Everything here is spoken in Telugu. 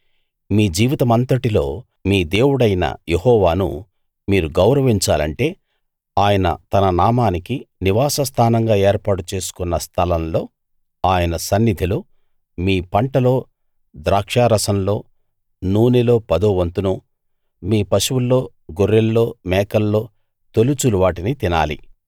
మీ జీవితమంతటిలో మీ దేవుడైన యెహోవాను మీరు గౌరవించాలంటే ఆయన తన నామానికి నివాస స్థానంగా ఏర్పాటు చేసుకొన్న స్థలంలో ఆయన సన్నిధిలో మీ పంటలో ద్రాక్షారసంలో నూనెలో పదో పంతును మీ పశువుల్లో గొర్రెల్లో మేకల్లో తొలిచూలు వాటిని తినాలి